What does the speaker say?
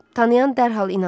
Tanıyan dərhal inanır.